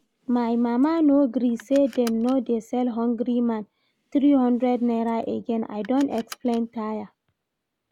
My mama no gree say dem no dey sell Hungry man three hundred naira again, I don explain tire